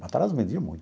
Matarazzo vendia muito.